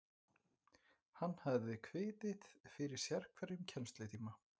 Hann hafði kviðið fyrir sérhverjum kennslutíma.